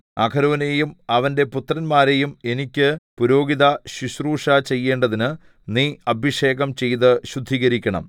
അഹരോനെയും അവന്റെ പുത്രന്മാരെയും എനിക്ക് പുരോഹിതശുശ്രൂഷ ചെയ്യേണ്ടതിന് നീ അഭിഷേകം ചെയ്ത് ശുദ്ധീകരിക്കണം